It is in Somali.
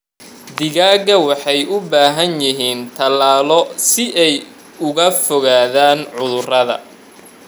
Digaagga waxay u baahan yihiin tallaallo si ay uga fogaadaan cudurrada.